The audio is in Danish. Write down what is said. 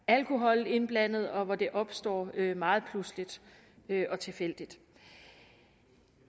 alkohol indblandet og hvor det opstår meget pludseligt og tilfældigt